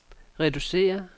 reducere